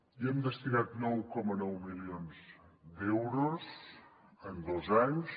hi hem destinat nou coma nou milions d’euros en dos anys